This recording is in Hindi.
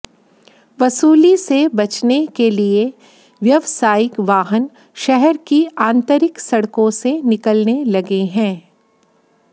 वसूली से बचने के लिए व्यावसायिक वाहन शहर की आंतरिक सड़कों से निकलने लगे हैं